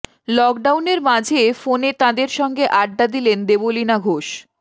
লকডাউনের মাঝে ফোনে তাঁদের সঙ্গে আড্ডা দিলেন দেবলীনা ঘোষ